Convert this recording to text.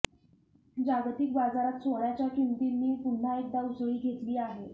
जागतिक बाजारात सोन्याच्या किंमतींनी पुन्हा एकदा उसळी घेतली आहे